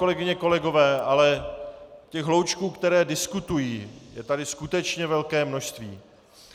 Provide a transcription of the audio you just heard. Kolegyně, kolegové, ale těch hloučků, které diskutují, je tady skutečně velké množství.